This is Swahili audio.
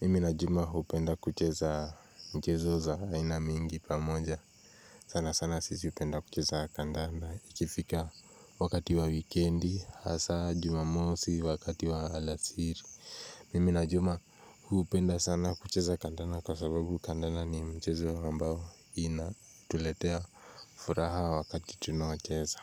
mimi na juma hupenda kucheza mchezo za aina mingi pamoja sana sana sisi hupenda kucheza kandanda ikifika wakati wa wikendi hasa jumamosi wakati wa alasiri mimi na juma hupenda sana kucheza kandanda kwa sababu kandanda ni mchezo ambao inatuletea furaha wakati tunaocheza.